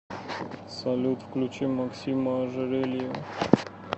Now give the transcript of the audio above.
салют включи максима ожерельева